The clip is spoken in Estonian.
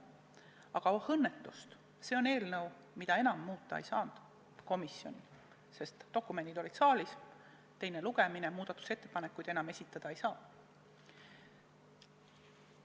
Aga oh õnnetust, see on eelnõu, mida enam komisjonis muuta ei saanud, sest dokumendid olid saalis – teine lugemine, muudatusettepanekuid enam esitada ei saa.